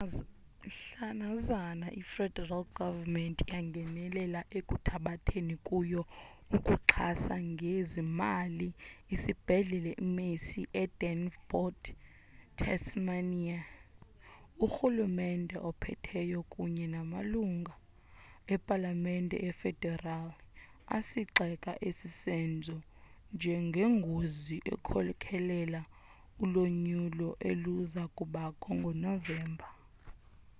mhlanazana i federal government yangenelela ekuthabathethi kuyo ukuxhasa ngezimali isibhedlela i mersey e devonport, tasmania urhulumente ophetheyo kunye namalungi epalamemete efederali asigxeka esi senzo njengengozi ekhokhela ulonyulo eluzakubakho ngo novemba